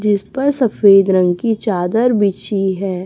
जिस पर सफेद रंग की चादर बिछी है।